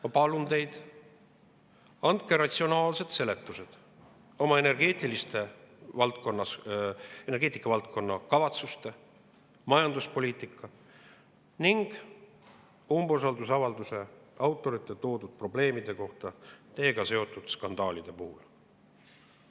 Ma palun teid, andke ratsionaalsed seletused oma kavatsuste kohta energeetikavaldkonnas, majanduspoliitika kohta ning umbusaldusavalduse autorite esile toodud probleemide kohta, teiega seotud skandaale.